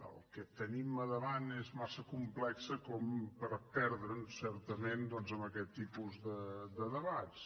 el que tenim a davant és massa complex per perdre’ns certament doncs en aquest tipus de debats